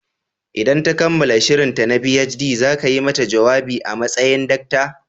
Idan ta kammala shirinta na PhD, za ka yi mata jawabi a matsayin Dr.